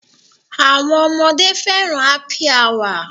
Àwọn ọmọdé fẹ́ràn Happy Hour.